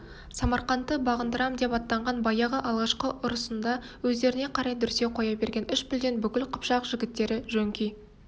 самарқантты бағындырам деп аттанған баяғы алғашқы ұрысында өздеріне қарай дүрсе қоя берген үш пілден бүкіл қыпшақ жігіттері жөңки